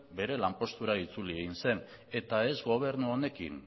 bere lanpostura itzuli egin zen eta ez gobernu honekin